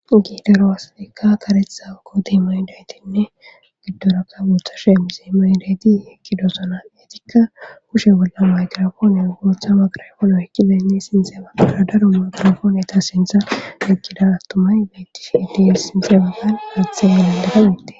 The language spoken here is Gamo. Giidero asaikka karetha kooti moydaytinnegiddorakka guutha sheemise medeti ekki dosona etikka kushe bolla maygrafoonen gootha magrafono ekki benne sinxe aara daro magirafoone ta sintha ekkida attumay beettish iddies sinxe baggan aatha elendafaitte.